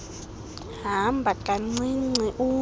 hamba kancinci ume